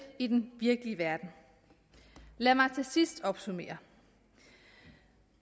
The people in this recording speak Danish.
i den virkelige verden lad mig til sidst opsummere